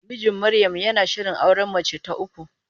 Mijin Maryam yana shirin auren mace ta uku.